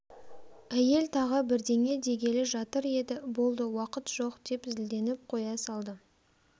әйел тағы бірдеңе дегелі жатыр еді болды уақыт жоқ деп зілденіп қоя салды